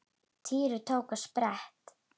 Týri tók á sprett.